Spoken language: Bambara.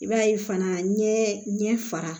I b'a ye fana ɲɛ fara